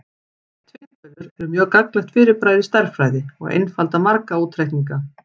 Tvinntölur eru mjög gagnlegt fyrirbæri í stærðfræði og einfalda marga útreikninga.